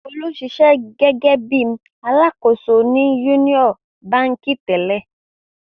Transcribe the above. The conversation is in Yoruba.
Folú ń ṣiṣẹ́ gẹ́gẹ́ bí i alákòóso ní Union Báńkì tẹ́lẹ̀.